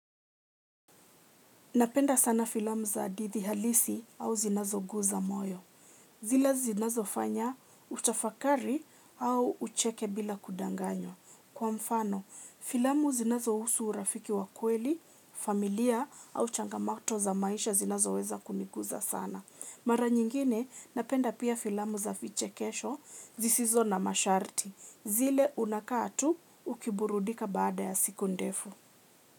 Napenda sana filamu za hadithi halisi au zinazo guza moyo. Zile zinazo fanya utafakari au ucheke bila kudanganywa. Kwa mfano, filamu zinazo husu urafiki wa kweli, familia au changamoto za maisha zinazo weza kuniguza sana. Mara nyingine, napenda pia filamu za vichekesho zisizo na masharti. Zile unakaa tu ukiburudika baada ya siku ndefu.